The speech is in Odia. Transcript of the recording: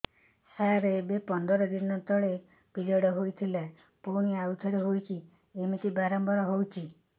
ସାର ଏବେ ପନ୍ଦର ଦିନ ତଳେ ପିରିଅଡ଼ ହୋଇଥିଲା ପୁଣି ଆଉଥରେ ହୋଇଛି ଏମିତି ବାରମ୍ବାର ହଉଛି